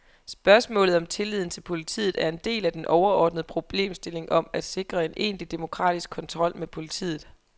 Spørgsmålet om tilliden til politiet er en del af den overordnede problemstilling om at sikre en egentlig demokratisk kontrol med politiet.